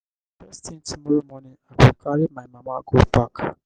first tin tomorrow morning i go carry my mama go park.